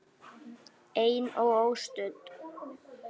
Ein og óstudd.